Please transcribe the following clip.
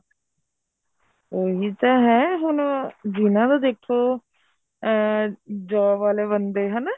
ਉਹੀ ਤਾਂ ਹੈ ਹੁਣ ਜਿਹਨਾ ਦਾ ਦੇਖੋ ਅਹ job ਵਾਲੇ ਬੰਦੇ ਹਨਾ